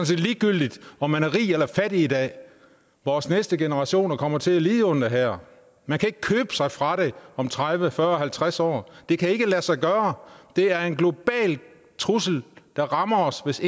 set ligegyldigt om man er rig eller fattig i dag vores næste generationer kommer til at lide under det her man kan ikke købe sig fra det om tredive fyrre og halvtreds år det kan ikke lade sig gøre det er en global trussel der rammer os hvis